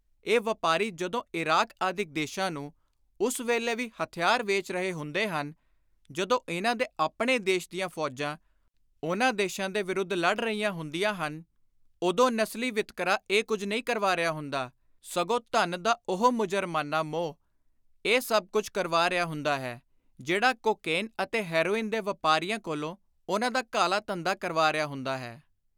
ਇਹ ਵਾਪਾਰੀ ਜਦੋਂ ਇਰਾਕ ਆਦਿਕ ਦੇਸ਼ਾਂ ਨੂੰ ਉਸ ਵੇਲੇ ਵੀ ਹਥਿਆਰ ਵੇਚ ਰਹੇ ਹੁੰਦੇ ਹਨ, ਜਦੋਂ ਇਨ੍ਹਾਂ ਦੇ ਆਪਣੇ ਦੇਸ਼ ਦੀਆਂ ਫ਼ੌਜਾਂ ਉਨ੍ਹਾਂ ਦੇਸ਼ਾਂ ਦੇ ਵਿਰੁੱਧ ਲੜ ਰਹੀਆਂ ਹੁੰਦੀਆਂ ਹਨ, ਉਦੋਂ ਨਸਲੀ ਵਿਤਕਰਾ ਇਹ ਕੁਝ ਨਹੀਂ ਕਰਵਾ ਰਿਹਾ ਹੁੰਦਾ, ਸਗੋਂ ਧਨ ਦਾ ਉਹੋ ਮੁਜਰਮਾਨਾ ਮੋਹ ਇਹ ਸਭ ਕੁਝ ਕਰਵਾ ਰਿਹਾ ਹੁੰਦਾ ਹੈ, ਜਿਹੜਾ ਕੋਕੇਨ ਅਤੇ ਹੈਰੋਇਨ ਦੇ ਵਾਪਾਰੀਆਂ ਕੋਲੋਂ ਉਨ੍ਹਾਂ ਦਾ ਕਾਲਾ ਧੰਦਾ ਕਰਵਾ ਰਿਹਾ ਹੁੰਦਾ ਹੈ।